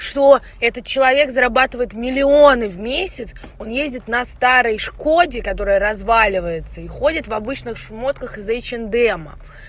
что этот человек зарабатывает миллионы в месяц он ездит на старой шкоде которая разваливается и ходит в обычных шмотках из эйч энд эма